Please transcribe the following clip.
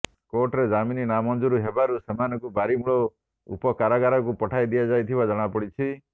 କୋର୍ଟରେ ଜାମିନ ନାମଞ୍ଜୁର ହେବାରୁ ସେମାନଙ୍କୁ ବାରିମୂଳ ଉପକାରାଗାରକୁ ପଠାଇଦିଆଯାଇଥିବା ଜଣାପଡିଛି